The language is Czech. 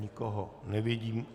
Nikoho nevidím.